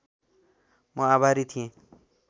म आभारी थिएँ